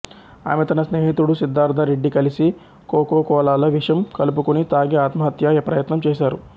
ఆమె తన స్నేహితుడు సిద్ధార్థ రెడ్డి కలిసి కోకోకోలాలో విషం కలుపుకుని తాగి ఆత్మహత్యా ప్రయత్నం చేశారు